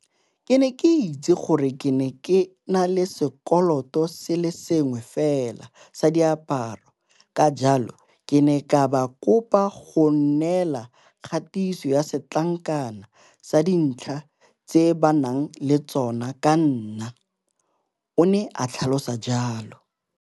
Ke ne ke itse gore ke na le sekoloto se le sengwe fela sa diaparo, ka jalo ke ne ka ba kopa go nnela kgatiso ya setlankana sa dintlha tse ba nang le tsona ka ga nna, o ne a tlhalosa jalo.